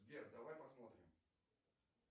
сбер давай посмотрим